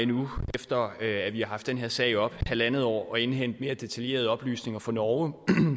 nu efter at vi har haft den her sag oppe i halvandet år i indhente mere detaljerede oplysninger fra norge